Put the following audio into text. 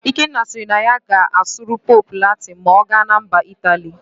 Ikenna siri na ya ga-asụrụ Pope Latịn ma ọ gana MbaIt aly